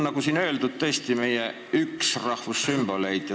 Nagu siin öeldud, on hümn tõesti üks meie rahvussümboleid.